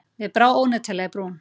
Mér brá óneitanlega í brún.